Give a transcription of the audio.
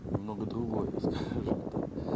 немного другое скажем так